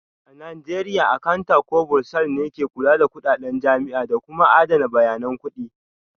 A Najeriya Akanta ko Bursar ne ke kula da kudaden jami'a da kuma adana bayanan kudi